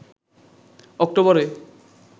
অক্টোবরে